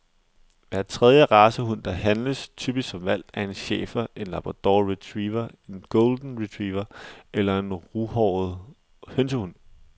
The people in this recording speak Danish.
Hver tredje racehund, der handles, typisk som hvalp, er en schæfer, en labrador retriever, en golden retriever eller en ruhåret hønsehund.